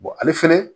ale fɛnɛ